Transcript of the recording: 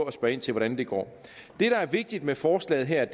at spørge ind til hvordan det går det der er vigtigt med forslaget her er